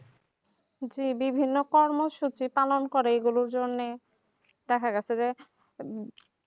জি বিভিন্ন কর্মসূচি টানান্তরে এইগুলোর জন্য দেখা যাচ্ছে